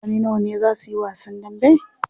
Mutane nawa ne zaa suyi wasan dambe?